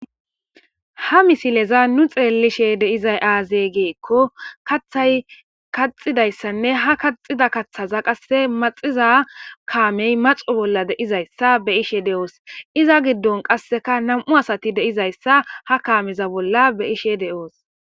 ha misileza nu xeellishe deizay aaze geekko kathay kaxidayssanne ha kaxida kaththaza qasse maxiza kaamey maxu bolla deizayssa be ishe de7oos iza giddon qasseka nam7u asati deizayssa ha kaameza bolla be ishe de7oos